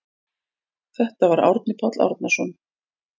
Þetta var Árni Páll Árnason.